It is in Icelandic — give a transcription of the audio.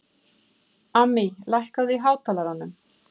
Amý, lækkaðu í hátalaranum.